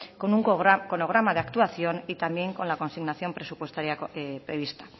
con un cronograma de actuación y también con la consignación presupuestaria prevista